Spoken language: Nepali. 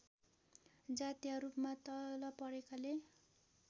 जातीयरूपमा तल परेकाले